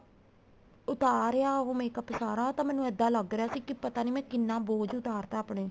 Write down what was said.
ਉਤਾਰਿਆ ਉਹ ਤਾਂ makeup ਸਾਰਾ ਤਾਂ ਮੈਨੂੰ ਇਹਦਾ ਲੱਗ ਰਿਹਾ ਸੀ ਕੀ ਪਤਾ ਮੈਂ ਕਿੰਨਾ ਬੋਝ ਉਤਾਰ ਤਾ ਆਪਣੇ